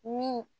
Min